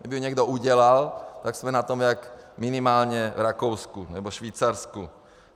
Kdyby ji někdo udělal, tak jsme na tom jako minimálně v Rakousku nebo Švýcarsku.